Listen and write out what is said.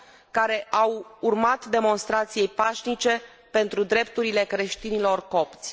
care au urmat demonstrației pașnice pentru drepturile creștinilor copți.